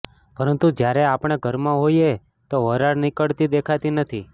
પરંતુ જ્યારે આપણે ઘરમાં હોઈએ તો વરાળ નીકળતી દેખાતી નથી